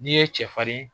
N'i ye cɛfarin